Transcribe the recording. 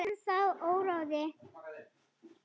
Það er ennþá óráðið.